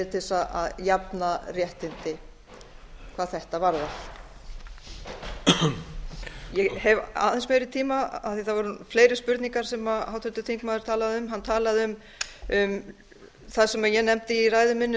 til þess að jafna réttindi hvað þetta varðar ég hef aðeins meiri tíma af því það voru fleiri spurningar sem háttvirtur þingmaður talaði um hann talaði um það sem ég nefndi í ræðu minni